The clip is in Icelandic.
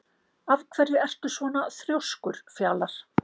Af hverju ertu svona þrjóskur, Fjalar?